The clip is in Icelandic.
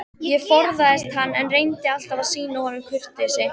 Ég forðaðist hann, en reyndi alltaf að sýna honum kurteisi.